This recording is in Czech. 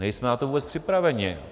Nejsme na to vůbec připraveni.